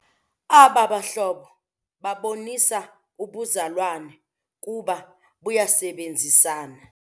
Aba bahlobo babonisa ubuzalwane kuba bayasebenzisana.